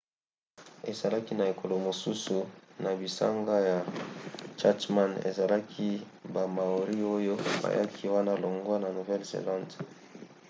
ezalaki na ekolo mosusu na bisanga ya chatham ezalaki ba maori oyo bayaki wana longwa na nouvelle-zelande